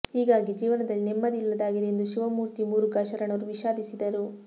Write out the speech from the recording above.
ಹೀಗಾಗಿ ಜೀವನದಲ್ಲಿ ನೆಮ್ಮದಿ ಇಲ್ಲದಾಗಿದೆ ಎಂದು ಶಿವಮೂರ್ತಿ ಮುರುಘಾ ಶರಣರು ವಿಷಾದಿಸಿದರು